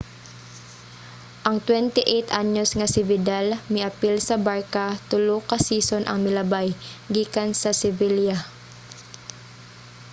ang 28-anyos nga si vidal miapil sa barça tulo ka season ang milabay gikan sa sevilla